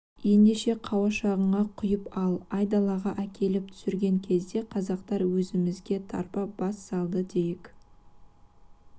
ендеше қауашағыңа құйып ал айдалаға әкеліп түсірген кезде қазақтар өзімізге тарпа бас салды дейік